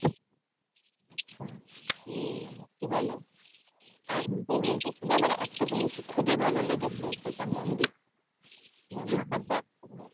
আচ্ছা কি? কি বলে আর পুরীতে শুধু আমার একটা জিনিসই খুবই ভালো লেগেছে যেটা মন্দির। মন্দিরটা দেখার মতো।